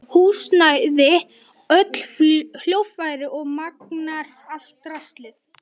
Húsnæði, öll hljóðfæri og magnara, allt draslið.